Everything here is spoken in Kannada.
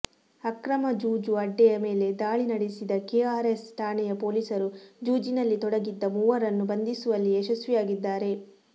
ಅಕ್ರಮ ಜೂಜು ಅಡ್ಡೆಯ ಮೇಲೆ ದಾಳಿ ನಡೆಸಿದ ಕೆಆರ್ ಎಸ್ ಠಾಣೆಯ ಪೊಲೀಸರು ಜೂಜಿನಲ್ಲಿ ತೊಡಗಿದ್ದ ಮೂವರನ್ನು ಬಂಧಿಸುವಲ್ಲಿ ಯಶಸ್ವಿಯಾಗಿದ್ದಾರೆ